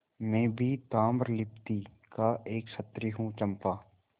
मैं भी ताम्रलिप्ति का एक क्षत्रिय हूँ चंपा